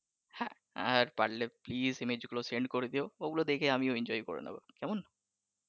আর পারলে please image গুলো send করে দিও ঐগুলো দেখে আমিও enjoy করে নিবো কেমন